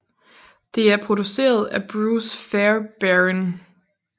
Det er produceret af Bruce Fairbairn